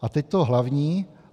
A teď to hlavní.